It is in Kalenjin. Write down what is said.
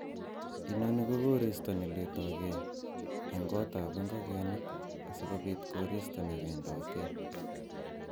Inoni ko koristo ne letogee en gotab ingogenik asikobii goristo newendote.